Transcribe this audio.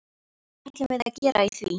Hvað ætlum við að gera í því?